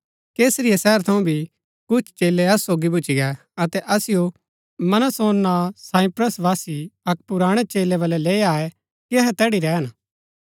कैसरिया शहर थऊँ भी कुछ चेलै असु सोगी भूच्ची गै अतै असिओ मनासोन नां साइप्रसवासी अक्क पुराणै चेलै बलै लैई आये कि अहै तैड़ी रैहन